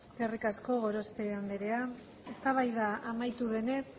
eskerrik asko gorospe andrea eztabaida amaitu denez